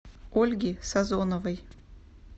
ольги сазоновой